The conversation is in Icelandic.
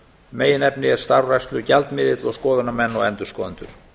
meginefni er starfrækslugjaldmiðill og skoðunarmenn og endurskoðendur